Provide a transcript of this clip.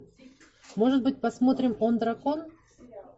может быть посмотрим он дракон